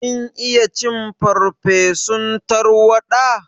Kin iya cin farsefun tarwaɗa?